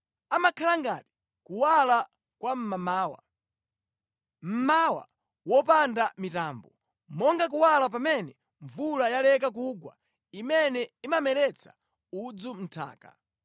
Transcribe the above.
amakhala ngati kuwala kwa mmamawa, mmawa wopanda mitambo, monga kuwala pamene mvula yaleka kugwa imene imameretsa udzu mʼnthaka.’